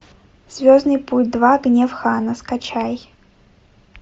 звездный путь два гнев хана скачай